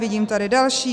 Vidím tady další.